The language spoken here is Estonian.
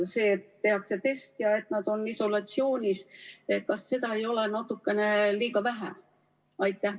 See, et tehakse test ja nad on isolatsioonis, kas seda ei ole natukene liiga vähe?